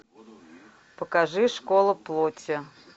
покажи школа плоти